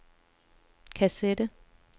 kassette